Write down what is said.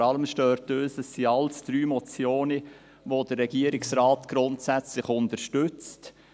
Vor allem stört uns, dass es drei Motionen sind, welche der Regierungsrat grundsätzlich unterstützt.